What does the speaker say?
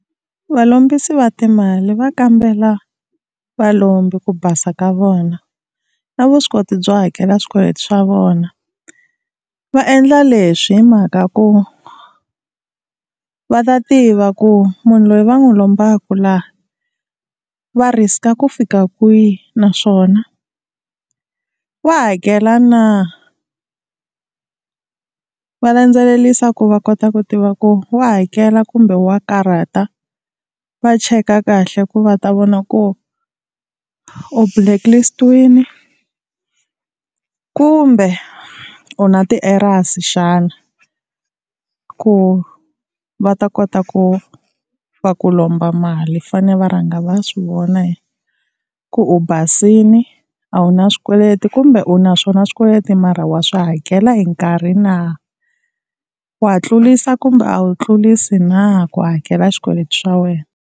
Valombisi va timali va kambela valombi ku basa ka vona na vuswikoti byo hakela swikweleti swa vona. Va endla leswi hi mhaka ku va ta tiva ku munhu loyi va n'wi lombaka laha va risk-a ku fika kwihi naswona wa hakela na, va landzelerisa ku va kota ku tiva ku wa hakela kumbe wa karhata va cheka kahle ku va ta vona ku u blacklist-iwini kumbe u na ti-errors xana, ku va ta kota ku va ku lomba mali fane va rhanga va swi vona ku u basile a wu na swikweleti kumbe u na swona swikweleti mara wa swi hakela hi nkarhi na, wa tlulisa kumbe a wu tlulisa na ku hakela swikweleti swa wena.